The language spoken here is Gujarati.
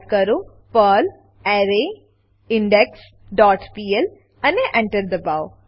ટાઈપ કરો પર્લ એરેઇન્ડેક્સ ડોટ પીએલ અને Enter દબાવો